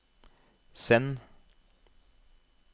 send